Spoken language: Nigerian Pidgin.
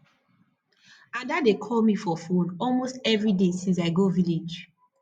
ada dey call me for phone almost every day since i go village